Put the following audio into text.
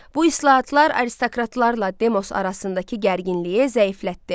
Bu islahatlar aristokratlarla demos arasındakı gərginliyi zəiflətdi.